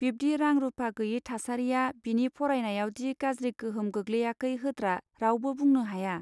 बिब्दि रां रूपा गैयै थासारिया बिनि फरायनायावदि गाज्रि गोहोम गोग्लैयाखै होत्रा रावबो बुंनो हाया.